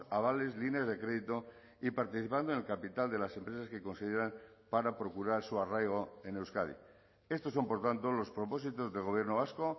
avales líneas de crédito y participando en el capital de las empresas que consideran para procurar su arraigo en euskadi estos son por tanto los propósitos del gobierno vasco